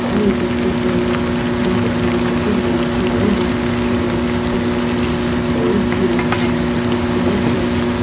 aru ete table te bhat ulai ne ase monso aru basmati rice ulai ne rakhi ne ase aru steel la cup dikhi pa ase aru chair khan.